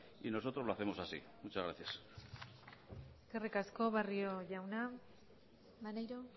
y nosotros lo hacemos así muchas gracias eskerrik asko barrio jauna maneiro